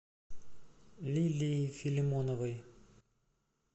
лилией филимоновой